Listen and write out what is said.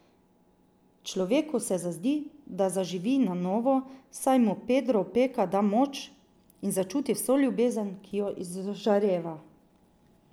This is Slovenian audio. Človeku se zazdi, kot da zaživi na novo, saj mu Pedro Opeka da moč, in začuti vso ljubezen, ki jo izžareva.